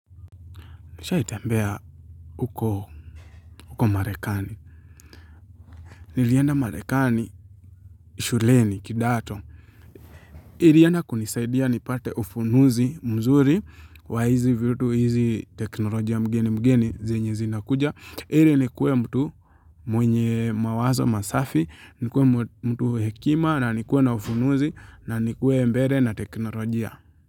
Nishaitembea huko Marekani. Nilienda Marekani shuleni kidato. Ilienda kunisaidia nipate ufunuzi mzuri wa hizi vitu hizi teknolojia mgeni mgeni zenye zinakuja. Ili nikuwe mtu mwenye mawazo masafi, nikuwe mtu hekima na nikuwe na ufunuzi na nikuwe mbele na teknolojia.